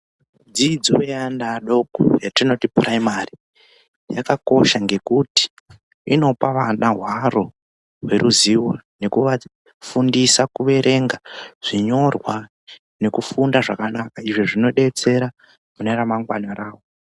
Dzidzo yaana adoko yatinoti puraimari yakakosha ngekuti inopa vana hwaro neruzivo nekuvafundisa kuverenga zvinyorwa nekufunda zvakanaka izvo zvinodetsera mune ramangwana ravo.